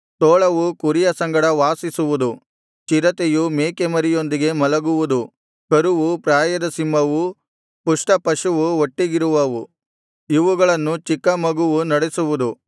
ತೋಳವು ಕುರಿಯ ಸಂಗಡ ವಾಸಿಸುವುದು ಚಿರತೆಯು ಮೇಕೆಮರಿಯೊಂದಿಗೆ ಮಲಗುವುದು ಕರುವೂ ಪ್ರಾಯದ ಸಿಂಹವೂ ಪುಷ್ಟಪಶುವೂ ಒಟ್ಟಿಗಿರುವವು ಇವುಗಳನ್ನು ಚಿಕ್ಕ ಮಗುವು ನಡೆಸುವುದು